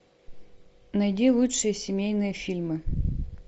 найди лучшие семейные фильмы